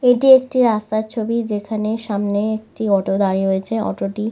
এটি একটি রাস্তার ছবি যেখানে সামনে একটি অটো দাঁড়িয়ে রয়েছে অটোটি --